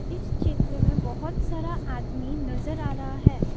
इस चित्र में बहुत सारा आदमी नजर आ रहा है।